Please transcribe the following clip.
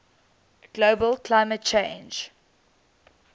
global climate change